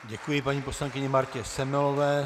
Děkuji paní poslankyni Martě Semelové.